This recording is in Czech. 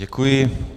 Děkuji.